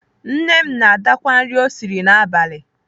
Nne m na-adakwa nri o siri n'abalị.